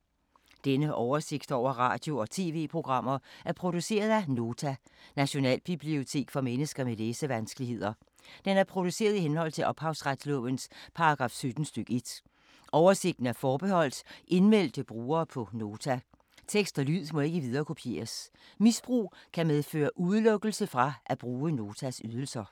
Denne oversigt over radio og TV-programmer er produceret af Nota, Nationalbibliotek for mennesker med læsevanskeligheder. Den er produceret i henhold til ophavsretslovens paragraf 17 stk. 1. Oversigten er forbeholdt indmeldte brugere på Nota. Tekst og lyd må ikke viderekopieres. Misbrug kan medføre udelukkelse fra at bruge Notas ydelser.